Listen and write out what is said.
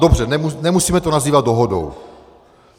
Dobře, nemusíme to nazývat dohodou.